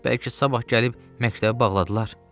Bəlkə sabah gəlib məktəbi bağladılar.